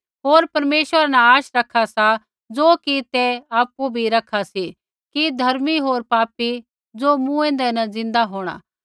होर परमेश्वरा न आशा रखा सा ज़ो कि ते आपु भी रखा सी कि धर्मी होर पापी ज़ो मूँऐंदै न ज़िन्दा होंणा